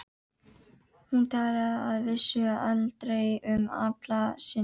Hún talaði að vísu aldrei um Alla sinn.